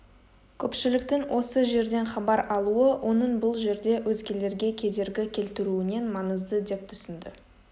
көпшіліктің осы жерден хабар алуы оның бұл жерде өзгелерге кедергі келтіруінен маңызды деп түсінді